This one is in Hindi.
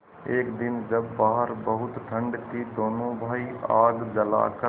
एक दिन जब बाहर बहुत ठंड थी दोनों भाई आग जलाकर